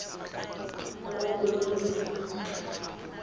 le mongwe yo o nyetseng